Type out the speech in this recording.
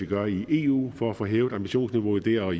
gøre i eu for at få hævet ambitionsniveauet dér og